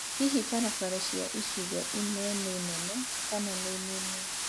hihi barabara cia icigo imwe nĩ nene kana nĩ nini